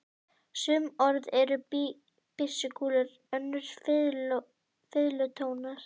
Sum orð eru byssukúlur, önnur fiðlutónar.